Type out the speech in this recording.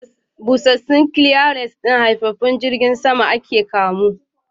Busassun cleaners haifaffen jirgin sama Ike camo.